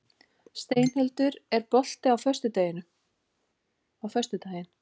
Steinhildur, er bolti á föstudaginn?